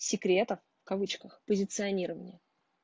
секрета в кавычках позиционирование